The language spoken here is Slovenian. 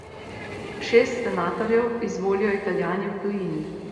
Šest senatorjev izvolijo Italijani v tujini.